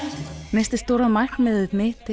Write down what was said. næsta stóra markmiðið mitt